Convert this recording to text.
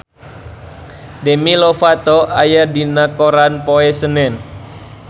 Demi Lovato aya dina koran poe Senen